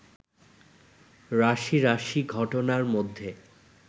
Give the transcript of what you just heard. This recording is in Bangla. রাশি রাশি ঘটনার মধ্যে